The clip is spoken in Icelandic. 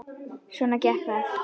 Svona gekk það.